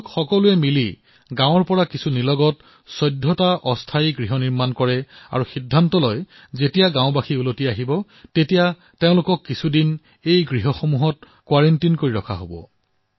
তেওঁলোকে লগ হৈ গাঁৱৰ পৰা অলপ দূৰৈতে ১৪টা অস্থায়ী জুপুৰি নিৰ্মাণ কৰিলে আৰু সিদ্ধান্ত গ্ৰহণ কৰিলে যে গাঁৱলৈ ঘূৰি অহা লোকসকলক কিছুদিন সেই কোৱাৰেণ্টিত ৰখা হব